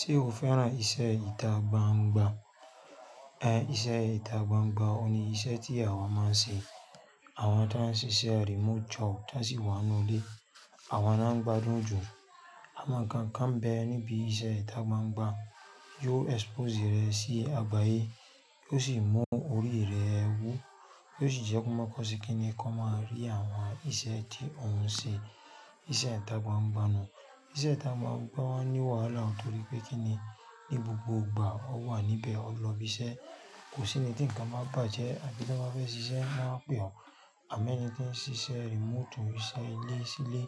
Ṣé o fẹ́ràn iṣẹ́ ìta gbangba? Iṣẹ́ ìta gbangba ò ní iṣẹ́ tí àwa máa ń ṣe. Àwọn tí wọ́n ń ṣiṣẹ́ remote job tí wọ́n sì wà nínú ilé, àwọn náà ń gbádùn jù. Awon ń kan kán mbe níbi iṣẹ́ ìta gbangba. Yiò expose rẹ sí àgbáyé, yiò sì mú orí rẹ wú, yiò sì jẹ́ kó máa kọ sí kí ni kí ó máa rí àwọn iṣẹ́ tí òun ṣe, iṣẹ́ ìta gbangba nu. Iṣẹ́ ìta gbangba máa ń ní wàhálà nítorí pé kí ni, ní gbogbo ìgbà ó wà níbẹ̀ ó ń lọ ibi iṣẹ́. Kò sí nì, tí ǹkan ba bàjẹ́, àbí tí wọ́n bá fẹ́ ṣiṣẹ́ won a pè ọ̀. Àmọ́ ẹni tí ń ṣiṣẹ́ remote òun ise ilé silé,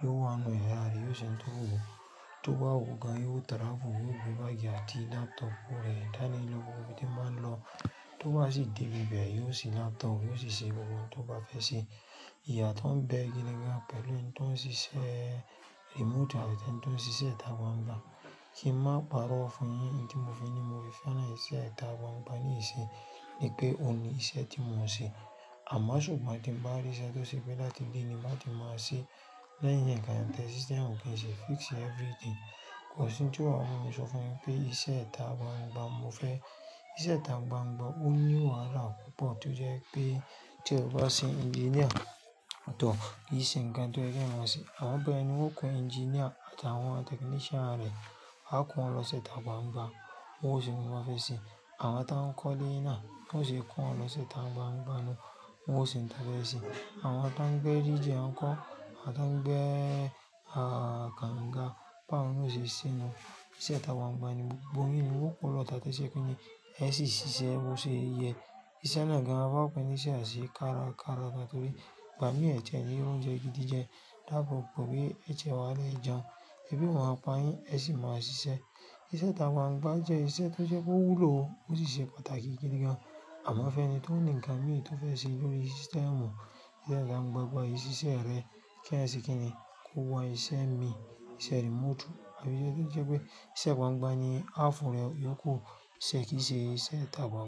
yóò wá nu iyara rẹ̀, yóò ṣe oun to wù ú, tó bá wù ú gan, yóò travel, yóò gbé báàgì àti laptop rẹ̀ dání lọ, gbogbo ibi tí ó bá ń lọ. Tó bá sì dé b ibẹ̀, yóò ṣí laptop, yóò sì ṣe gbogbo ohun tó bá fẹ́ ṣe. Íyáto ń bẹ́ gidi gan pẹ̀lú ẹni to ń ṣiṣẹ́ remoti àti ẹni tí ó ń ṣiṣẹ́ ìta gbangba. Kí n màá parọ́ fún yín n tí mo fi ni mo fẹ́ràn iṣẹ́ ìta gbangba ní ìṣe ni pé òun ni iṣẹ́ tí mo ń ṣe. Àmọ́ ṣùgbọ́n tí ń bá rí iṣẹ́ tó ṣe pé láti dé níbà tí mo á ṣí lẹ́yìn ẹ̀yà ń kan tẹ system gẹ́gẹ́ sí fix everything, kò sí ohun tí ó máa mú mi ṣọ̀fọ̀ yín pé iṣẹ́ ìta gbangba mo fẹ́. Iṣẹ́ ìta gbangba ò ní wàhálà púpọ̀ toje rí pé tí ẹ bá sin engineer tọ̀ọ́, ì ṣe ń kan tó jẹ́ pé mo máa ṣe. Àwọn bẹ́ mi wọn kó engineer àti àwọn technician rẹ̀, a kó wọn lọ sí ìta gbangba, wọn ò sì ní wọ́n fẹ́ ṣe. Àwọn tí wọ́n ń kọ́lé náà wọn ò ṣe kó wọn lọ sí ìta gbangba náà, wọn ò sì ń ta fẹ́ ṣe. Àwọn tí wọ́n ń gbe DJ wọn kọ́, àti àwọn tí wọ́n ń gbe, ah, ganga, pa wọn, ò ṣe ṣí inú. Ìṣe ìta gbangba ni gbogbo yín ni wọn kò lọ tà tí ṣe kí ni ẹ sì ṣiṣẹ́, ó ṣe yẹ. Ìṣẹ́ náà gan-an, a bá pè é níṣe àṣé kárakára nítorí ìgbà mìí ẹ̀jẹ̀ ni ó ro jẹ gidi jẹ dábo pẹ̀lú pé ẹ̀jẹ̀ máa lè jẹun, ẹbí máa pa yín, ẹ sì máa ṣiṣẹ́. Ìṣe ìta gbangba jẹ́ iṣẹ́ tó jẹ́ kó wúlò ó sì ṣe pàtàkì gẹ́gẹ́ gan. Àmọ́ fẹ́ni tó ní ǹkan mìíràn tó fẹ́ ṣe lórí system, ìṣe ìta gbangba yìí ṣiṣẹ́ rẹ kí ẹyan sè kí ni kó wọ iṣẹ́ mi, iṣẹ́ remote. Àbí ṣe kíi sẹ́ pé iṣẹ́ gbangba ni half rẹ yóò ku ṣẹ̀ kí ṣe ìṣe ìta gbangba.